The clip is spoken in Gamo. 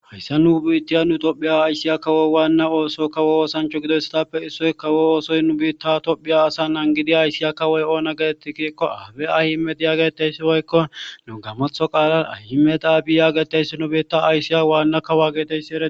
hayssa nu biittiya nu tophphiya ayssiya kawo waana ooso kawo oosancha gidoyssatappe issoy kawo oosoy nu biitta tophphiya asa nangidi ayssiya kawoy oona getitti giikko abi ahimeda yaageteysi woykko nu gammaththo qalla ahimedi abi yaageteyssi nu biitta aysiya wana kawa geetetiyassi eretees